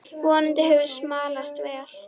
Vonandi hefur smalast vel.